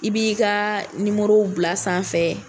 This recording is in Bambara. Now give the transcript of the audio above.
I b'i ka bila sanfɛ.